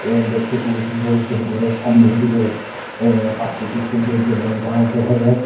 অ্যা দেখতে খুবই সুন্দর একটি ঘরের সামনের দিকে অ্যা প্রাকৃতিক সৌন্দর্য এবং গাছ দেখা যায়।